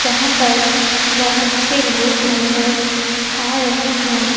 जहां पर बहोत से लोग नजर आ रहे हैं।